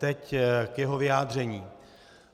Teď k jeho vyjádření.